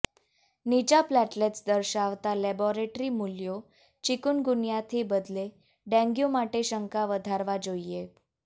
નીચા પ્લેટલેટ્સ દર્શાવતા લેબોરેટરી મૂલ્યો ચિકુનગુન્યાથી બદલે ડેન્ગ્યુ માટે શંકા વધારવા જોઇએ